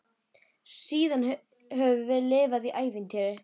Síðan höfum við lifað í ævintýri.